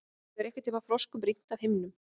Hefur einhverntíma froskum rignt af himninum?